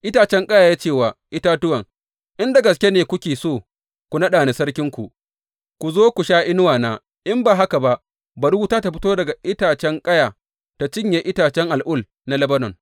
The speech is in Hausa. Itacen ƙaya ya ce wa itatuwan, In da gaske ne kuke so ku naɗa ni sarkinku, ku zo ku sha inuwana; in ba haka ba, bari wuta ta fito daga itacen ƙaya ta cinye itacen al’ul na Lebanon!’